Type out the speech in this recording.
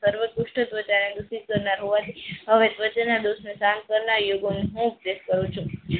સર્વ દુષ્ટ હવે ધ્વજા ના દોષ થી ઉપદેશ કરું છું.